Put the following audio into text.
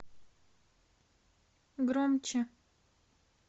громче